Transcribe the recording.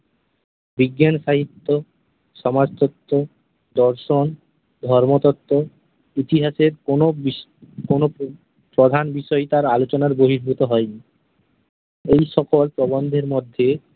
বিজ্ঞান সাহিত্য, সমাজতত্ত্ব, দর্শন, ধর্মতত্ত্ব - ইতিহাসের কোনো বিষ- কোনো উম প্রধান বিষয় তাঁর আলোচনার বহির্ভূত হয়নি । এই সকল প্রবন্ধের মধ্যে